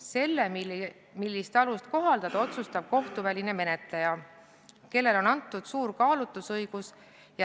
Selle, millist alust kohaldada, otsustab kohtuväline menetleja, kellele on antud suur kaalutlusõigus.